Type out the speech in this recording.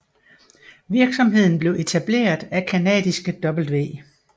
Virksomheden blev etableret af canadiske W